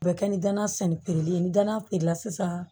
U bɛ kɛ ni dana sɛnɛ piri ye ni gana feere la sisan